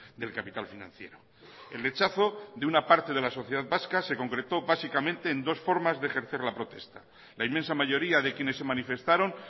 del capital financiero el rechazo de una parte de la sociedad vasca se concretó básicamente en dos formas de ejercer la protesta la inmensa mayoría de quienes se manifestaron